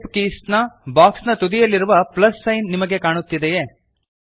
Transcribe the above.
shape keys ನ box ನ ಬಲತುದಿಯಲ್ಲಿ ಪ್ಲಸ್ ಸೈನ್ ನಿಮಗೆ ಕಾಣುತ್ತಿದೆಯೇ